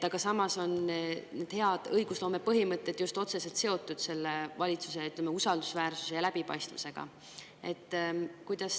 Need hea õigusloome põhimõtted on just otseselt seotud valitsuse usaldusväärsuse ja läbipaistvusega.